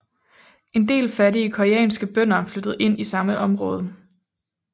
En del fattige koreanske bønder flyttede ind i samme område